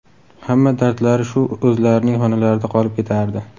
Hamma dardlari shu o‘zlarining xonalarida qolib ketardi.